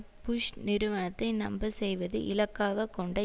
push நிருவனத்தை நம்பச் செய்வதை இலக்காக கொண்ட